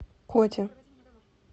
коти